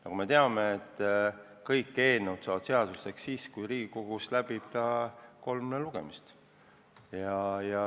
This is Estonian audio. Nagu me teame, kõik eelnõud saavad seaduseks siis, kui on Riigikogus läbinud kolm lugemist.